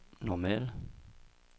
normal